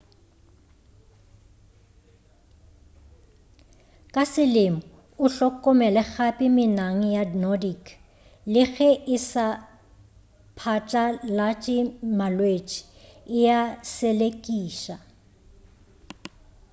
ka selemo o hlokomele gape menang ya nordic le ge e sa phatlalatše malwetši e a selekiša